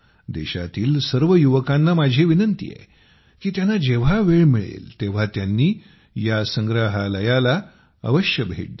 देशातील सर्व युवकांना माझा आग्रह आहे की त्यांना जेव्हा वेळ मिळेल तेव्हा त्यांनी या संग्रहालयाला अवश्य भेट द्यावी